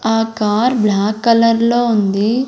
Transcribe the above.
ఆ car black కలర్లో లో ఉంది.